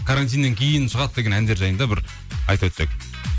карантиннен кейін шығады деген әндер жайында бір айтып өтсек